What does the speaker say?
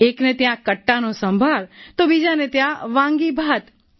એકને ત્યાં કટ્ટાનો સંભાર તો બીજાને ત્યાં વાંગી ભાત